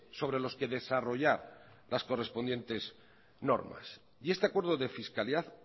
sobre los que desarrollar las correspondientes normas y este acuerdo de fiscalidad